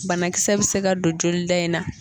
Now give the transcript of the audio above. Banakisɛ bɛ se ka don joli da in na.